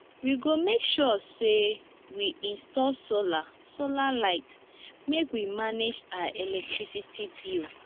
we go make sure sey we install solar solar light make we manage our electricity bill